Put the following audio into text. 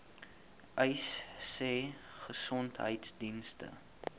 uys sê gesondheidsdienste